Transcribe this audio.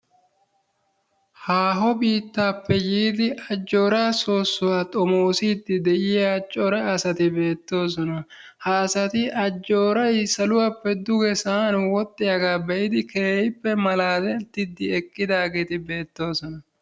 Haaho biittaappe yiidi ajjooraa soosuwa xommossidi beettiya cora asatti beettoosona. Ha asati saluwappe duge sa'an wodhdhiyaagaa be'idi keehiippe malaalettidi eqqidaageeti beettoosona.